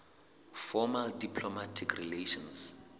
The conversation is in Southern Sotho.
formal diplomatic relations